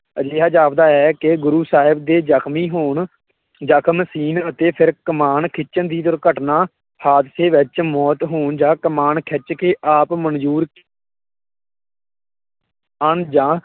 ਅਜਿਹਾ ਜਾਪਦਾ ਹੈ ਕਿ ਗੁਰੁ ਸਾਹਿਬ ਦੇ ਜਖਮੀ ਹੋਣ ਜਖਮ ਸੀਣ ਅਤੇ ਫਿਰ ਕਮਾਨ ਖਿੱਚਣ ਦੀ ਦੁਰਘਟਨਾ, ਹਾਦਸੇ ਵਿੱਚ ਮੌਤ ਹੋਣ ਜਾ ਕਮਾਣ ਖਿੱਚ ਕੇ ਆਪ ਮੰਨਜ਼ੂਰ